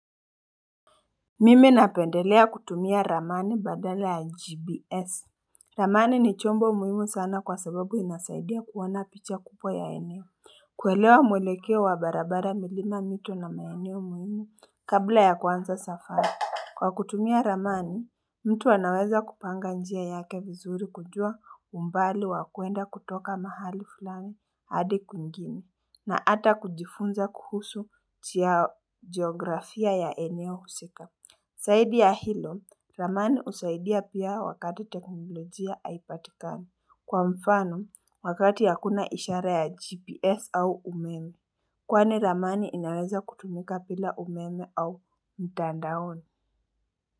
Mimi napendelea kutumia ramani badala ya gbs Ramani ni chombo muhimu sana kwa sababu inasaidia kuona picha kubwa ya eneo Kwelewa mwelekeo wa barabara milima mito na maeneo muhimu kabla ya kwanza safari Kwa kutumia ramani mtu anaweza kupanga njia yake vizuri kujua umbali wakwenda kutoka mahali fulami hadi kwingine na ata kujifunza kuhusu chia geografia ya eneo husika saidi ya hilo, ramani husaidia pia wakati teknolojia haipatikani. Kwa mfano, wakati hakuna ishara ya GPS au umeme. Kwani ramani inaweza kutumika bila umeme au mtandaoni.